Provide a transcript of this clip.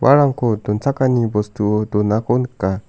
uarangko donchakani bostuo donako nika.